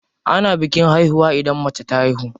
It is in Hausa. Ana bikin haihuwa idan mace ta haihu.